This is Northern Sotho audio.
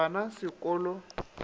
ba na se ko lo